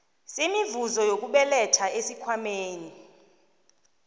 semivuzo yokubeletha esikhwameni